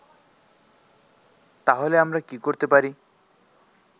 তাহলে আমরা কি করতে পারি